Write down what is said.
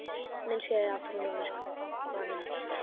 Myndskeið af tunglmyrkvanum